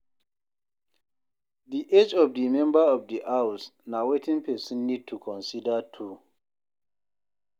Di age of the member of di house na wetin person need to consider too